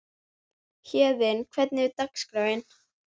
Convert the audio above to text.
Héðinn, hvernig er dagskráin?